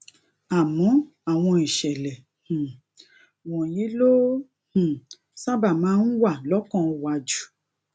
àmó àwọn ìṣèlè um wònyí ló um sábà máa ń wà lókàn wa jù